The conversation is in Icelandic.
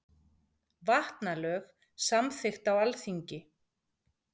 Vatnalög samþykkt á Alþingi.